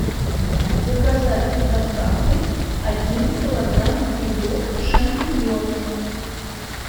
заказать с доставкой один килограмм грибов шампиньоны